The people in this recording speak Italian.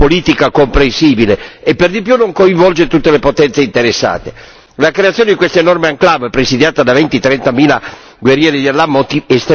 La creazione di questa enorme enclave presidiata da venti trentamila guerrieri di Allah estremamente motivati sconvolge totalmente il quadro geopolitico della regione.